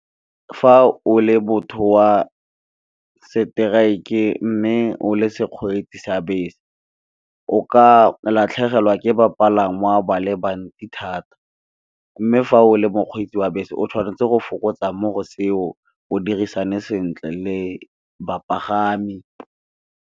Fa o le motho wa strike mme, o le sekgoretsi sa bese o ka latlhegelwa ke bapalangwa ba lebantsi thata. Mme, fa o le mokgwetsi wa bese o tshwanetse go fokotsa mo seo, o dirisane sentle le bapagami.